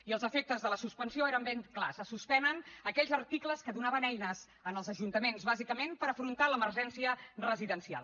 i els efectes de la suspensió eren ben clars se suspenen aquells articles que donaven eines als ajuntaments bàsicament per afrontar l’emergència residencial